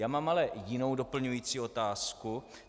Já mám ale jinou doplňující otázku.